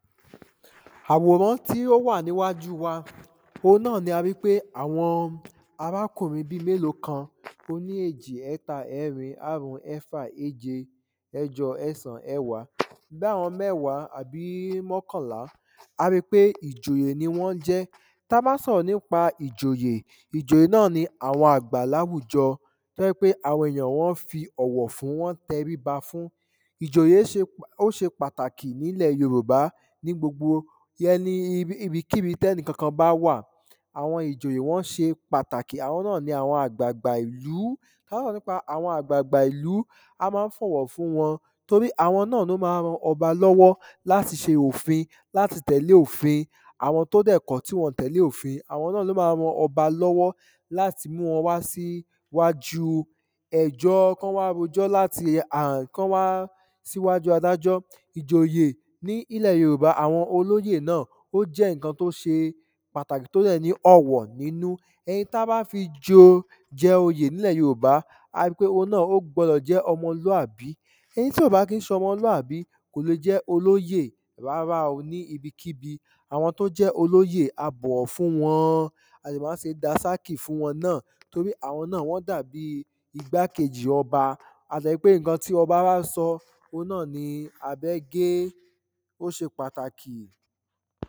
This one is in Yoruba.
àwòrán tí ó wà níwájú wa òhun náà ni a rí pé àwọn arákùnrin bíi mélòó kan oní èjì ẹ́ẹta ẹ́ẹrin áàrún ẹ́ẹ́fà ééje ẹ́ẹ́jọ ẹ́ẹ̀sán ẹ́ẹ̀wá bí àwon mẹ́wàá àbí mókànlá a rí kpé ìjòyè ni wón jé ta bá sọ̀rọ̀ nípa ìjòyè ìjòyè náà ni àwon àgbà láwùjọ tó jẹ́ pé àwọn èèyàn wọ́n ń fi ọ̀wọ̀ fún ń tẹríba fún ìʤòjè ṣe ó ṣe pàtàkì nílẹ̀ yorùbá ní gbogbo yẹ́n ní ní ibi kíbi tẹ́nìkankan bá wàn àwọn ìjòyè wón ṣe pàtàkì àwon nâ ni àgbàgbà ìlú tá ba dé àwon àgbàgbà ìlú a má ń fọ̀wọ̀ fún won tórí àwọn náà ni wọ́n má ń ran ọbà láti ṣe òfin láti tẹ̀lẹ́ òfin àwọn tó dẹ̀ kọ̀ tí wọn ò tẹ̀lẹ́ òfin àwọn náà ló máa ran ọba lọ́wọ́ látí mú wọn wá sí wájú ẹjó kán wá rojọ́ láti ùm kán wá síwájú adájọ́ ìjòyẹ̀ nílẹ̀ yorùbá àwọn olóyè náà ó jẹ́ ǹnkan tó ṣe pàtàkì tó dẹ̀ ní ọ̀wọ̀ nínú ẹni tán bá fi jẹ joyè nílẹ̀ yorùbá á ó ri pé òun náà ó gbọdọ jẹ́ ọmọlúàbí ẹnití ìbá kí ṣe ọmọlúàbí kò le jẹ́ olóyè rárá o níbikíbi àwọ tó bá jẹ́ olóyè a bọ̀wọ̀ fun wọn a dẹ̀ má ń ṣe dànsákì fún wọn náà torí àwọn náà wọ́n dàbí igbákejì ọba a dẹ̀ ríi pé ǹnkan tí ọbá bá sọ òun náà ni abẹ gé ó ṣe pàtàkì